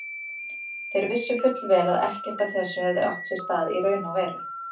Þeir vissu fullvel að ekkert af þessu hefði átt sér stað í raun og veru.